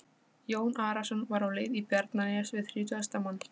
Jón Arason var á leið í Bjarnanes við þrítugasta mann.